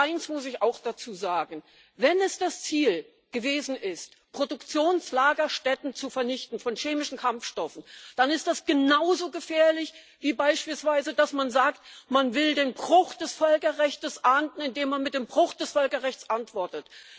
Und eins muss ich auch dazu sagen Wenn es das Ziel gewesen ist, Produktionslagerstätten, von chemischen Kampfstoffen zu vernichten, dann ist das genauso gefährlich, wie beispielsweise dass man sagt Man will den Bruch des Völkerrechtes ahnden, indem man mit dem Bruch des Völkerrechts antwortet.